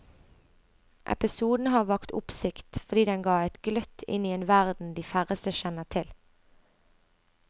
Episoden har vakt oppsikt fordi den ga et gløtt inn i en verden de færreste kjenner til.